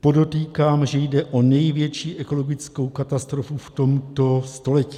Podotýkám, že jde o největší ekologickou katastrofu v tomto století.